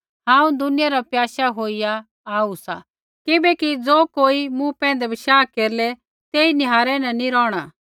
हांऊँ दुनिया न प्याशा होईया आऊ सा किबैकि ज़ो कोई मूँ पैंधै बशाह केरलै तेई निहारै न नैंई रौहणा